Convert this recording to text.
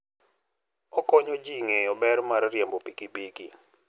Okonyo ji ng'eyo ber mar riembo pikipiki.